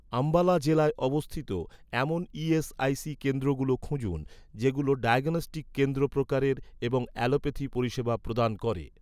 আম্বালা জেলায় অবস্থিত, এমন ই.এস.আই.সি কেন্দ্রগুলো খুঁজুন, যেগুলো ডায়াগনস্টিক কেন্দ্র প্রকারের এবং অ্যালোপ্যাথি পরিষেবা প্রদান করে